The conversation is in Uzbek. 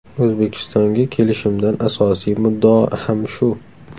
O‘zbekistonga kelishimdan asosiy muddao ham shu.